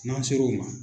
N'an ser'o ma